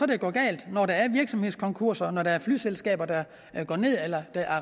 det går galt når der er virksomhedskonkurser når der er flyselskaber der går ned eller